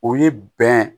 O ye bɛn